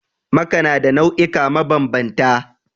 Maka na da nau'ika mabanbanta